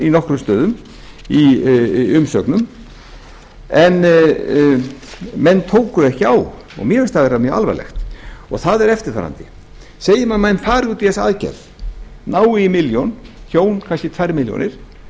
í nokkrum stöðum í umsögnum en menn tóku ekki á og mér finnst það vera mjög alvarlegt og það er eftirfarandi þegar menn fara út í þessa aðgerð ná í milljón hjón kannski tvær milljónir og